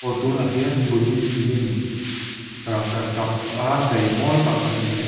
aw tunah hian buddhist lim rangkachak a chei mawi tak kan hmu a.